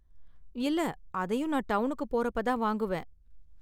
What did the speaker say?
இல்ல, அதையும் நான் டவுனுக்கு போறப்ப தான் வாங்குவேன்.